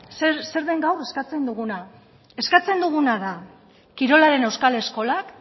zer den gaur eskatzen duguna eskatzen duguna da kirolaren euskal eskolak